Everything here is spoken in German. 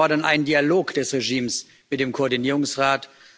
Auch wir fordern einen Dialog des Regimes mit dem Koordinierungsrat.